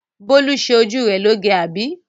Bólú ṣe ojú rẹ loge, àbí?